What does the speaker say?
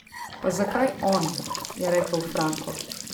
Pa zakaj on, je rekel Franko.